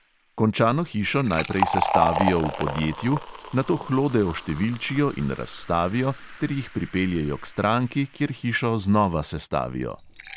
Končano hišo najprej sestavijo v podjetju, nato hlode oštevilčijo in razstavijo ter jih pripeljejo k stranki, kjer hišo znova sestavijo.